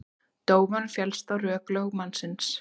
Dómarinn féllst á rök lögmannsins